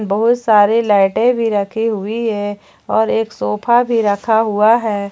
बहुत सारे लाइटें भी रखी हुई है और एक सोफा भी रखा हुआ है।